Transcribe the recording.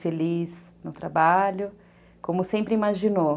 Feliz no trabalho, como sempre imaginou.